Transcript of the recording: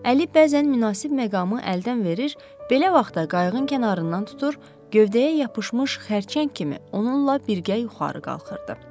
Əli bəzən münasib məqamı əldən verir, belə vaxtda qayığın kənarından tutur, gövdəyə yapışmış xərçəng kimi onunla birgə yuxarı qaldırırdı.